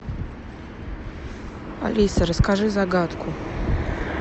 алиса расскажи загадку